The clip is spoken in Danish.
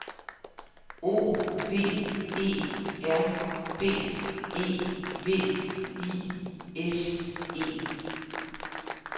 O V E R B E V I S E